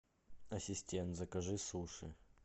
ассистент закажи суши